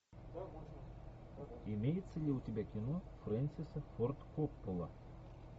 имеется ли у тебя кино фрэнсиса форд коппола